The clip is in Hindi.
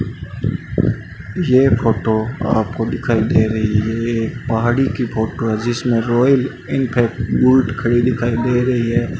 ये फोटो आपको दिखाई दे रही है एक पहाड़ी की फोटो है जिसमें रॉयल एनफील्ड बुलेट खड़ी दिखाई दे रही है।